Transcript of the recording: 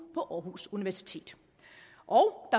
på aarhus universitet og